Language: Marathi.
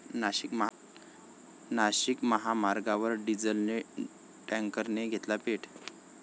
नाशिक महामार्गावर डिझेल टॅंकरने घेतला पेट